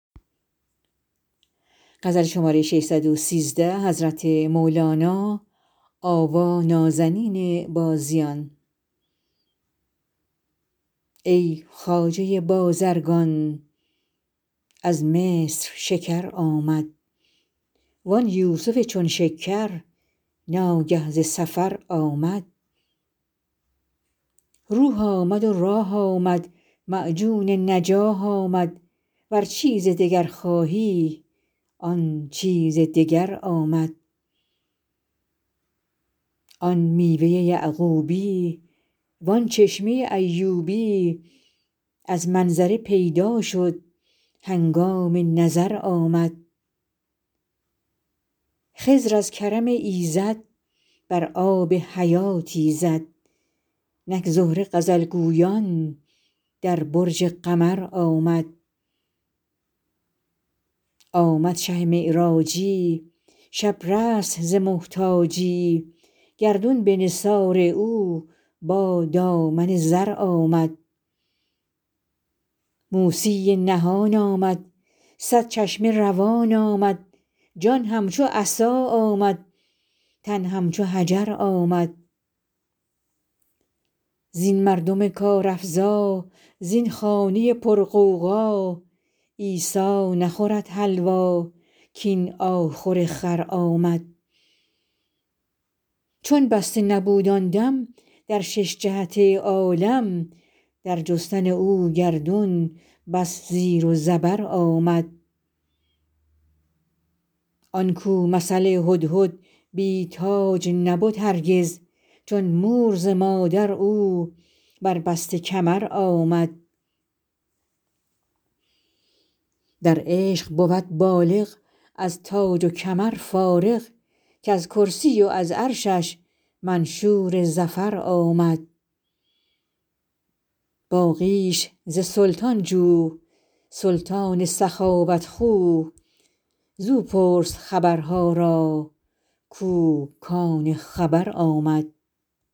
ای خواجه بازرگان از مصر شکر آمد وان یوسف چون شکر ناگه ز سفر آمد روح آمد و راح آمد معجون نجاح آمد ور چیز دگر خواهی آن چیز دگر آمد آن میوه یعقوبی وان چشمه ایوبی از منظره پیدا شد هنگام نظر آمد خضر از کرم ایزد بر آب حیاتی زد نک زهره غزل گویان در برج قمر آمد آمد شه معراجی شب رست ز محتاجی گردون به نثار او با دامن زر آمد موسی نهان آمد صد چشمه روان آمد جان همچو عصا آمد تن همچو حجر آمد زین مردم کارافزا زین خانه پرغوغا عیسی نخورد حلوا کاین آخور خر آمد چون بسته نبود آن دم در شش جهت عالم در جستن او گردون بس زیر و زبر آمد آن کو مثل هدهد بی تاج نبد هرگز چون مور ز مادر او بربسته کمر آمد در عشق بود بالغ از تاج و کمر فارغ کز کرسی و از عرشش منشور ظفر آمد باقیش ز سلطان جو سلطان سخاوت خو زو پرس خبرها را کو کان خبر آمد